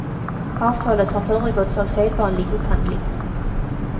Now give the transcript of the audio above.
Avtalet har föregåtts av sedvanlig upphandling.